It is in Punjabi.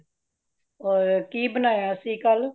ਹੋਰ ਕੀ ਬਣਾਈਆਂ ਸੀ ਕਲ